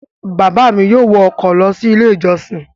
Bàbá mi yóò wọ ọkọ̀ lọ sí Ilé-ìjọsìn.